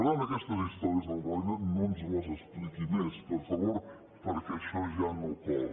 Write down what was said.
per tant aquestes històries del roine no ens les expliqui més per favor perquè això ja no cola